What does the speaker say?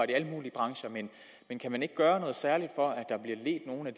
i alle mulige brancher men kan man ikke gøre noget særligt for at at